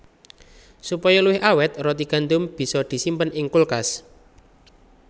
Supaya luwih awèt roti gandum bisa disimpen ing kulkas